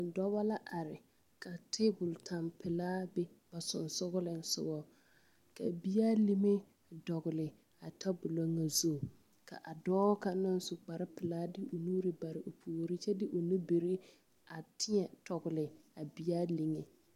Dɔba la are ka tabol tɛmpelaa be ba sensoglesoga ka bea lime a dɔgle a tabolɔ ŋa zu k,a dɔɔ kaŋ naŋ su kparepelaa de o nuuri bare o puori kyɛ de o nubiri a teɛŋ tɔgle a bea liŋe.